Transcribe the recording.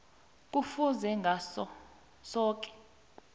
kufuze ngaso soke